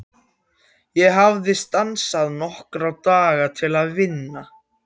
Ég hafði stansað nokkra daga til að vinna.